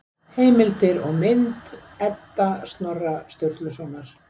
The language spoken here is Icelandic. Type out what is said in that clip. Heimildir og mynd: Edda Snorra Sturlusonar.